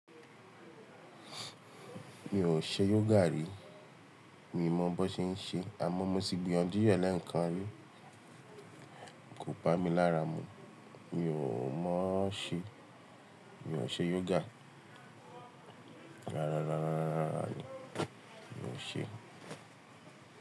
Mi ò ṣe yoga rí, mi mọ bó ṣe ń ṣe, àmọ́ mo ti gbiyanju rẹ̀ lẹ́ẹ̀kan rí, kò bá mi lára mú. Mi ò mọ ṣe, mi ò ṣe yoga. Rárá, rárá, rárá, mi ò ṣe.